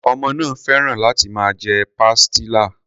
Ọmọ náà féràn láti máa jẹ pastilla.